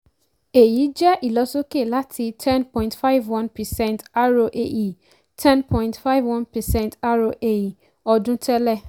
èyí jẹ́ ìlọ̀sókè láti 10.51 percent roae 10.51 percent roae ọdún tẹ́lẹ̀.